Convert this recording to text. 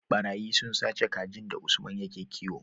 ɓarayi sun sace kajin da usman yake kiwo